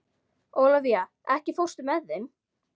Ólafía, ekki fórstu með þeim?